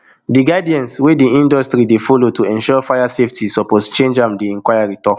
di guidance wey di industry dey follow to ensure fire safety suppose change am di inquiry tok